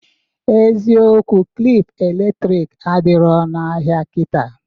Eziokwu klịp elektrik adiro n'ahịa kịta